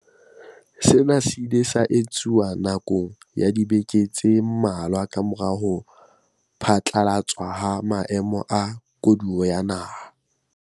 Sena se ile sa etsuwa na kong ya dibeke tse mmalwa kamora ho phatlalatswa ha Maemo a Koduwa ya Naha.